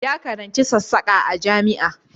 Ya karanci sassaka a jami'a